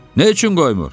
Nə üçün qoymur?